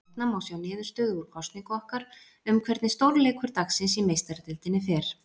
Hérna má sjá niðurstöðu úr kosningu okkar um hvernig stórleikur dagsins í Meistaradeildinni fer.